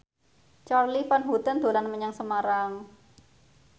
Charly Van Houten dolan menyang Semarang